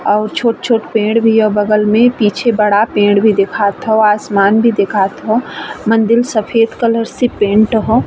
और छोट-छोट पेड़ भी है बगल में पीछे बड़ा पेड़ भी दिखात ह आसमान भी दिखात ह। मंदिल सफेद कलर से पेंट ह।